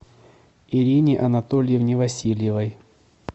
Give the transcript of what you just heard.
ирине анатольевне васильевой